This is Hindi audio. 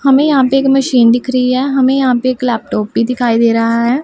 हमें यहां पे एक मशीन दिख रही है हमें यहां पे एक लैपटॉप भी दिखाई दे रहा है।